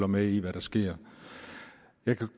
med i hvad der sker jeg